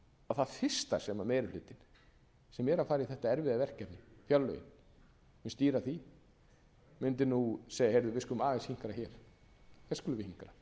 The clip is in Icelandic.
það fyrsta sem meiri hlutinn sem er að fara í þetta erfiða verkefni fjárlögin sem stýra því mundi nú segja við skulum aðeins hinkra hér hér skulum við hinkra